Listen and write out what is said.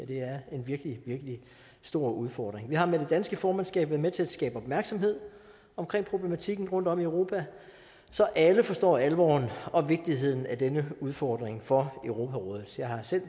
det er en virkelig virkelig stor udfordring vi har med det danske formandskab været med til at skabe opmærksomhed omkring problematikken rundtom i europa så alle forstår alvoren og vigtigheden af den her udfordring for europarådet jeg har selv